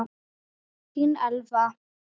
Þín Elfa.